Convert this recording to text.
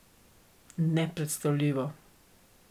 Nepredstavljivo!